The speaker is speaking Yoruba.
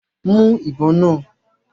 Mú ìbọn náà!